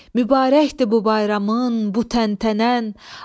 Mübarəkdir bu bayramın, bu təntənən.